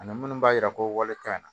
Ani minnu b'a yira ko walekan na